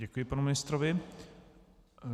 Děkuji panu ministrovi.